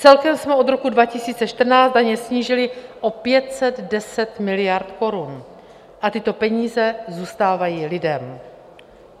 Celkem jsme od roku 2014 daně snížili o 510 miliard korun a tyto peníze zůstávají lidem.